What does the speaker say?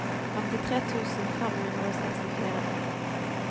femtitre tusen fem hundre og sekstifire